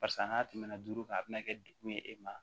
Parisa n'a tɛmɛna duuru kan a bɛna kɛ degun ye e ma